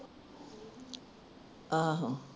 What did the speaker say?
ਆਹੋ